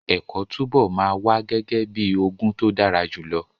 Ẹ̀kọ́ túbọ̀ máa wà gẹ́gẹ́ bíi ogún tó dára jùlọ.